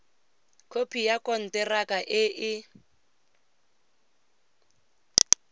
khopi ya konteraka e e